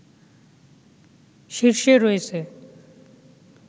শীর্ষে রয়েছে